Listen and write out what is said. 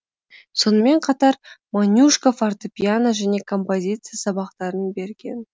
сонымен қатар монюшко фортепиано және композиция сабақтарын берген